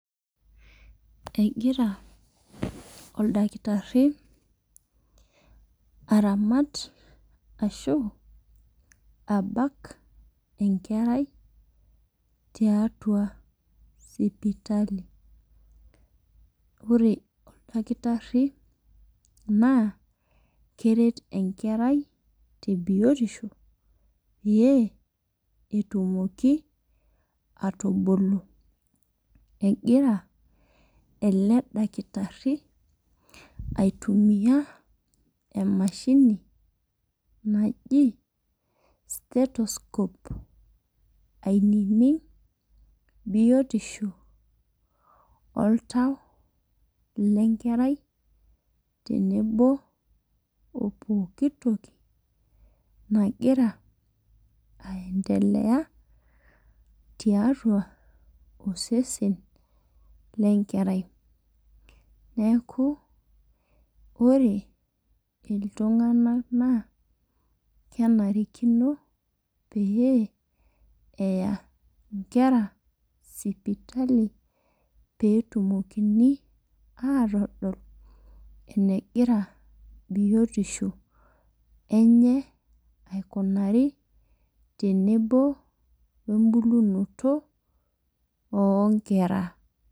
Egira oldakitarri aramat ashu abak enkerai tiatua sipitali ore oldakitarri naa keret enkerai te biotisho peyie etumoki atubulu egira ele dakitarri aitumiyia emashini naji stethoscope ainining biotisho oltau lenkerai tenebo opokitoki nagira aendelea tiatua osesen lenkerai neeku ore iltung'anak naa kenarikino pee eya inkera sipitali petumokini atodol enegira biotisho enye aikunari tenebo wembulunoto onkera.